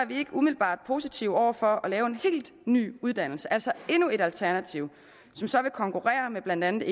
vi ikke umiddelbart positive over for at lave en helt ny uddannelse altså endnu et alternativ som så vil konkurrere med blandt andet